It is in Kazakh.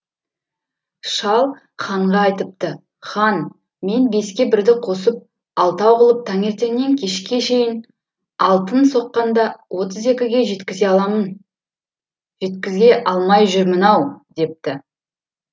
шал ханға айтыпты хан мен беске бірді қосып алтау қылып таңертеңнен кешке шейін алтын соққанда отыз екіге жеткізе жеткізе алмай жүрмін ау депті